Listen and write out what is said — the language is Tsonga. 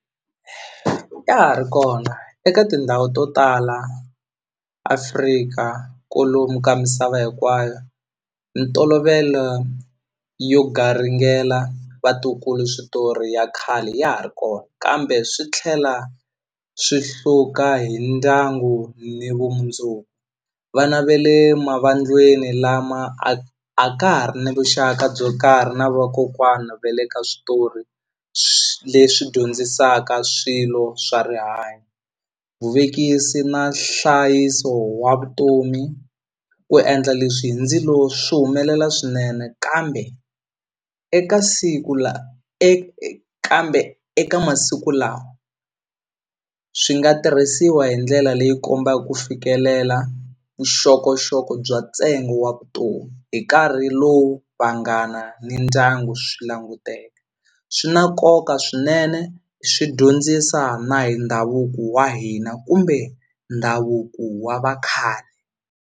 Ka ha ri kona eka tindhawu to tala Africa kwolomu ka misava hinkwayo ntolovelo yo garingela vatukulu switori ya khale ya ha ri kona kambe swi tlhela swi hluka hi ndyangu ni vumundzuku vana ve le lama a a ka ha ri ni vuxaka byo karhi na vakokwana va le ka switori leswi dyondzisaka swilo swa rihanyo vuvekisi na nhlayiso wa vutomi ku endla leswi hi ndzilo swi humelela swinene kambe eka siku la e kambe eka masiku lawa swi nga tirhisiwa hi ndlela leyi kombaku ku fikelela vuxokoxoko bya ntsengo wa vutomi hi nkarhi lowu vanghana ni ndyangu swi languteka swi na nkoka swinene swi dyondzisa na hi ndhavuko wa hina kumbe ndhavuko wa vakhale.